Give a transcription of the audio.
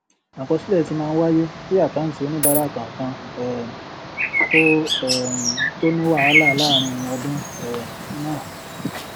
àkọsílẹ tí máa ń wáyé kí àkáǹtì oníbàárà kankan um kò um tó ní wàhálà láàárín ọdún um náà